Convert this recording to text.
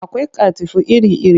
Akwai katifu iri-iri